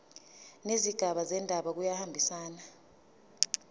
nezigaba zendaba kuyahambisana